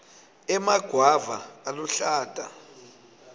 emagwava aluhlata